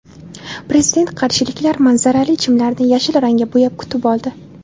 Prezidentni qarshiliklar manzarali chimlarni yashil rangga bo‘yab kutib oldi .